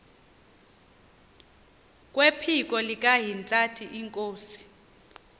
kwephiko likahintsathi inkosi